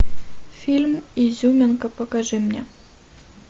фильм изюминка покажи мне